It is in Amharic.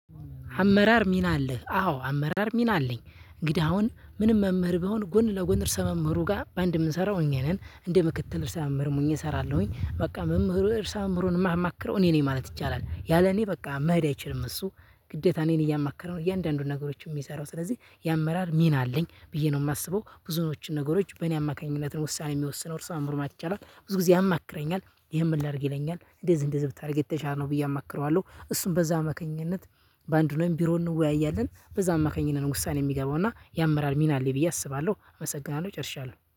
አመራር ሚና አለህ አዎ አመራር ሚና አለኝ እንግዳ አሁን ምንም መምህር ብሆን ጎን ለጎን እርሰ መምህሩ ጋር በአንድ የምንሰራው እኛ ነን እንደ ምክትል እርሰ መምህርም ሁኘ እሰራለሁኝ በቃ መምህሩ እርሰ መምህሩን የማማክረው እኔ ነኝ ማለት ይቻላል። ያለ እኔ በቃ መሄድ አይችልም እሱ ግዴታ እኔን እያማከረ ነው። እያንዳንዱን ነገሮችን የሚሰራው ስለዚህ የአመራር ሚና አለኝ ብዬ ነው የማስበው ብዙዎችን ነገሮች በእኔ አማካኝነት ነው። ውሳኔ የሚወስነው እርሰ መምህሩ ማለት ይቻላል። ብዙ ጊዜ ያማክረኛል ይሄን ምን ላድርግ ይለኛል? እንደዚህ እንደዚህ ብታደርግ የተሻለ ነው ብዬ አማክረዋለሁ። እሱም በዛ አማካኝነት በአንድ ሁነን ቢሮ እንወያያለን። በዛ አማካኝነት ውሳኔ የሚገባውና ያምራል ሚና አለኝ ብዬ አስባለሁ። አመሰግናለሁ ጨርሻለሁ